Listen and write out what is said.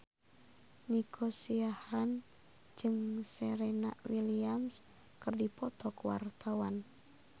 Nico Siahaan jeung Serena Williams keur dipoto ku wartawan